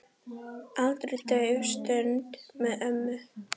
Aldrei dauf stund með ömmu.